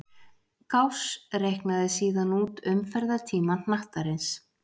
Gauss reiknaði síðan út umferðartíma hnattarins.